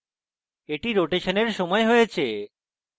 এটি রোটেশনের সময় হয়েছে